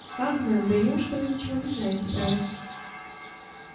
как мэм да неужто вы ничего не знаете про это